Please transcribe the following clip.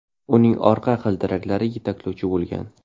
Uning orqa g‘ildiraklari yetaklovchi bo‘lgan.